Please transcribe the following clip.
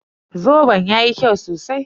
Zoben yayi kyau sosai